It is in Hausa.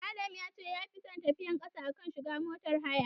Adam ya ce yafi son tafiyar ƙasa a kan shiga motar haya.